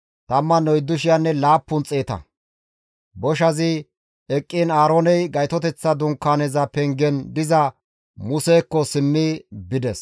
Boshazi eqqiin Aarooney Gaytoteththa Dunkaaneza pengen diza Musekko simmi bides.